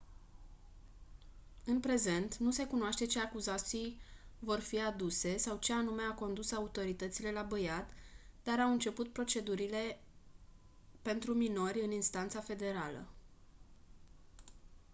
în prezent nu se cunoaște ce acuzații vor fi aduse sau ce anume a condus autoritățile la băiat dar au început procedurile pentru minori în instanța federală